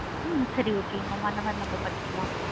ஹம் சரி okay mam அந்த மாதிரி நாம பண்ணிக்கலாம்.